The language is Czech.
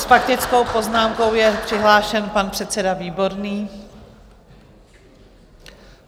S faktickou poznámkou je přihlášen pan předseda Výborný.